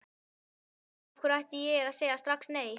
Af hverju ætti ég að segja strax nei?